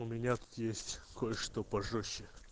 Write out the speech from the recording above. у меня тут есть кое-что пожёстче